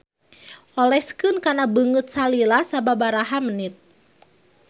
Oleskeun kana beungeut salila sababaraha menit.